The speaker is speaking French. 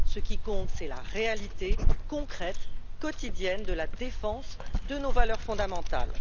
Ce qui compte, c'est la réalité concrète, quotidienne, de la défense de nos valeurs fondamentales.